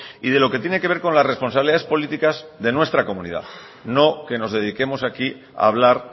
y de lo que tiene que ver con las responsabilidades políticas de nuestra comunidad no que nos dediquemos aquí a hablar